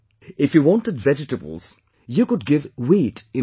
If you wanted vegetables you could give wheat in return